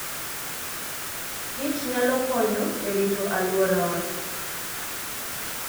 kich nyalo konyo e rito alworawa.